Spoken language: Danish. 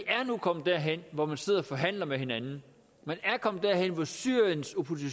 er nu kommet derhen hvor man sidder og forhandler med hinanden man er kommet derhen hvor syrien